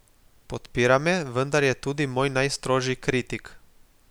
Podpira me, vendar je tudi moj najstrožji kritik.